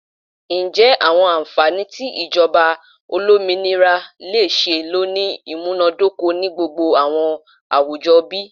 Njẹ awọn anfani ti ijọba olominira le ṣee lo ni imunadoko ni gbogbo awọn awujọ bi?